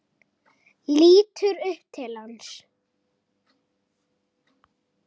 Lítur upp til hans.